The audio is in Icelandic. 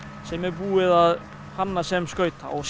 sem er búið að hanna sem skauta og